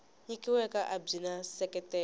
nyikiweke a byi na nseketelo